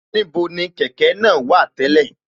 Níbo ni kẹ̀kẹ́ náà wà tẹ́lẹ̀